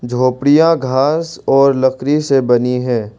झोपड़िया घास और लकड़ी से बनी है।